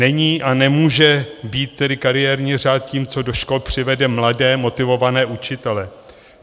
Není a nemůže být tedy kariérní řád tím, co do škol přivede mladé motivované učitele.